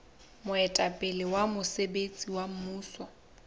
moetapele wa mosebetsi wa mmuso